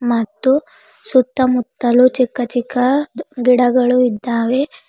ಮತ್ತು ಸುತ್ತ ಮುತ್ತಲು ಚಿಕ್ಕ ಚಿಕ್ಕ ಗಿಡಗಳು ಇದ್ದಾವೆ.